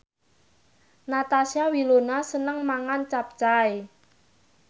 Natasha Wilona seneng mangan capcay